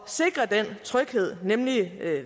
sikre den tryghed nemlig